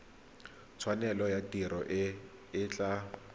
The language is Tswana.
tshwanelo ya tiro e tla